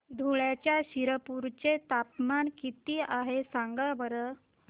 धुळ्याच्या शिरपूर चे तापमान किता आहे सांगा बरं